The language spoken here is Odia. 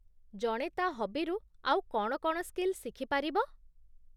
ଜଣେ ତା' ହବିରୁ ଆଉ କ'ଣ କ'ଣ ସ୍କିଲ୍ ଶିଖିପାରିବ?